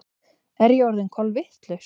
Er ég orðin kolvitlaus?